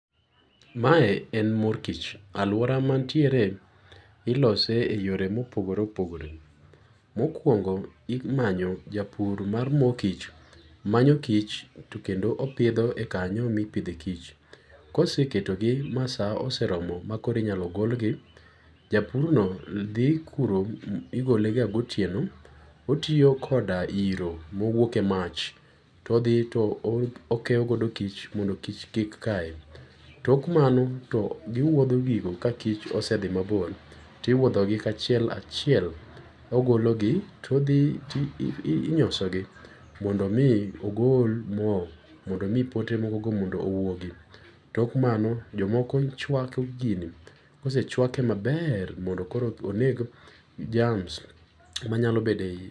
Mae en mor kich aluora matiere ilose e yore ma pogore opgore mokuongo imanyo japur mar mor kich manyo kich to kendo opidho e kanyo mipithoe kich koseketogi ma saa oseromo makoro inyalo golgi japurno thi kuro igoke ga gotieno otiyo koda hiro mowuoke emach to othi okeyogo kich mondo kik kaye tok mano to giwuotho gino ka kich osethi mabor ti iwuothogi kachiel kachiel ogologi to odhi inyosogi mondo mi ogol moo mondo omii pote moogo mondo owuogi tok mano jomoko chuako gini kosechuake maber mondo koro oneg jams manyalo bedo e iye.